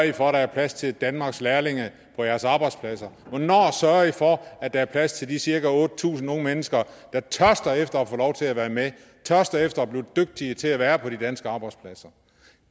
i for at der er plads til danmarks lærlinge på jeres arbejdspladser hvornår sørger i for at der er plads til de cirka otte tusind unge mennesker der tørster efter få lov til at være med tørster efter at blive dygtige til at være på de danske arbejdspladser